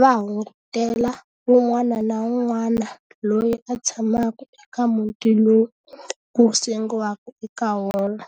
va hungutela wun'wana na wun'wana loyi a tshamaka eka muti lowu ku sengiwaka eka wona.